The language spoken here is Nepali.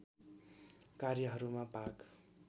कार्यहरूमा भाग